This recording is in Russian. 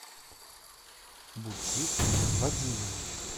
бутит вадимович